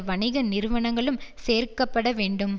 வணிக நிறுவனங்களும் சேர்க்க பட வேண்டும்